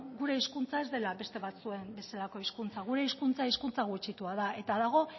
gure hizkuntza ez dela beste batzuen bezala hizkuntza gure hizkuntza hizkuntza gutxitua da eta dago